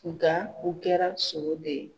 Nga u kɛra sogo de ye.